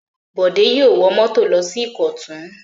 Bọ̀dé yóò wọ mọ́tò lọ sí Ìkọ̀tún!